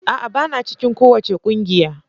A'a! Bana cikin kowace kungiya.